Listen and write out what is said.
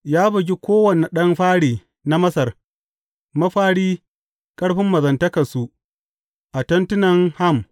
Ya bugi kowane ɗan fari na Masar, mafari ƙarfin mazantakansu a tentunan Ham.